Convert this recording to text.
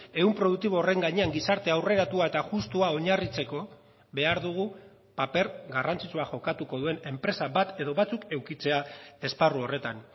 ehun produktibo horren gainean gizarte aurreratua eta justua oinarritzeko behar dugu paper garrantzitsua jokatuko duen enpresa bat edo batzuk edukitzea esparru horretan